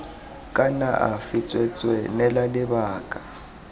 kana afe tsweetswee neela lebaka